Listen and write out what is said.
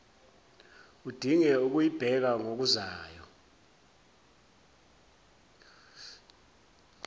udinge ukuyibheka ngokuzayo